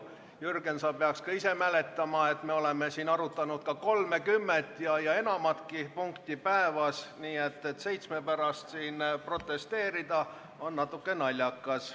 Jürgen, sa peaks ka ise mäletama, et me oleme siin arutanud ka 30 ja enamatki punkti päevas, nii et seitsme pärast protesteerida on natuke naljakas.